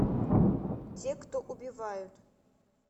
те кто убивают